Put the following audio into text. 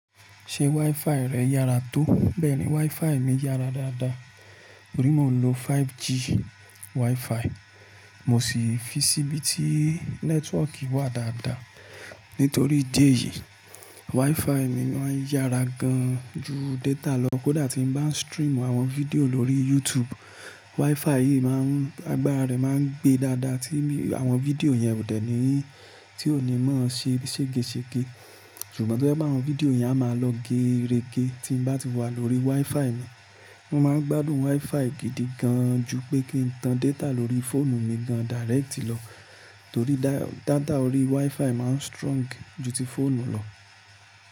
Ṣé WiFi rẹ yára tó? Bẹ́ẹ̀ni, WiFi mi yára dáadáa. Torí mò ń lo 5G WiFi, mo sì fi síbi tí nẹ́tíwọ̀kì wà dáadáa. Nítorí ìdí èyí, WiFi mi máa ń yára gan ju data lọ. Kódà tí ń bá ń stream àwọn fídíò lórí YouTube, WiFi yìí má ń, agbára rẹ̀ má ń gbe dáadáa tí àwọn fídíò yẹn ò dẹ́ni ní, tí ò ní má ṣe ségesège. Ṣùgbọ́n tó je pé àwon fídíò yẹn a máa lọ geerege tí ń bá ti wà lórí WiFi mi. Mo máa ń gbádùn WiFi gidi gan ju pé kí n tan data lórí fóònù mi gan dáréètì lọ, torí data orí WiFi má ń strong ju ti fóònù lọ.